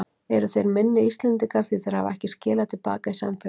Eru þeir minni Íslendingar því þeir hafa ekki skilað til baka í samfélagið?